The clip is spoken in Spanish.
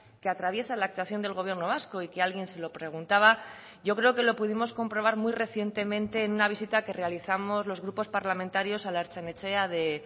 que atraviesa la actuación del gobierno vasco y que alguien se lo preguntaba yo creo que lo pudimos comprobar muy recientemente en una visita que realizamos los grupos parlamentarios a la ertzain etxea de